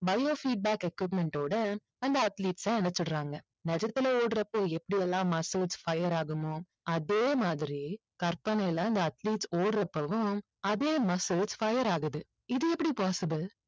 bio feedback equipment ஓட அந்த athletes ம் அனுப்பிச்சிடுறாங்க. நிஜத்துல ஓடுறப்போ எப்படி எல்லாம் muscles fire ஆகுமோ அதே மாதிரி கற்பனையில இந்த athletes ஓடுறப்பவும் அதே muscles fire ஆகுது இது எப்படி possible